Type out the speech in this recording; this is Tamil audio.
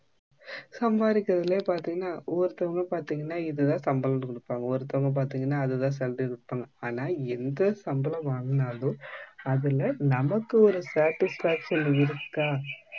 சம்பாதிக்குறதுலே பாத்தீங்கன்னா ஒருதவாங்க பாத்தீங்கன்னா இதுதா சம்பளம்னு குடுப்பாங்க ஒருத்தவங்க பாத்தீங்கன்னா அதுதா salary னு குடுப்பாங்க ஆனா நா எந்த சம்பளம் வாங்குனாலும் அதுல நமக்கு ஒரு satisfaction இருக்கா